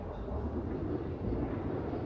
Və qeyd eləyim ki, əslində normaldır da.